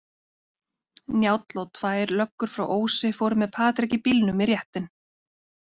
Njáll og tvær löggur frá Ósi fóru með Patrik í bílnum í réttinn.